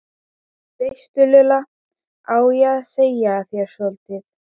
veistu Lulla, á ég að segja þér soldið?